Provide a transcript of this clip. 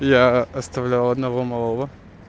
я оставлял одного малого